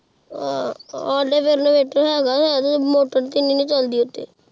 ਹਾਂ ਆੜੇ ਵਾਲ ਹੈਗਾ ਇੰਵੇਰਟਰ ਹੈਗਾ ਆਹ ਪਰ ਮੋਤੀ ਤੇਹ ਇ ਚਲਦੀ ਓਹ੍ਤੇ